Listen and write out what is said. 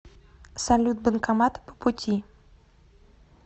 салют банкоматы по пути